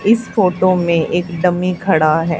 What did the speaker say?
इस फोटो में एक डमी खड़ा है।